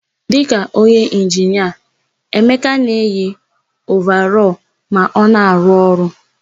Dịka onye inginia, Emeka na-eyi ovarọlụ ma ọ na-arụ ọrụ.